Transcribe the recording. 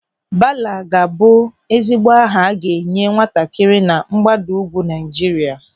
Bala ga-abụ ezigbo aha a ga-enye nwatakịrị na mgbago ugwu Naịjirịa.